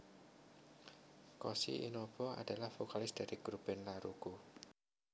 Koshi Inaba adalah vokalis dari grup band Laruku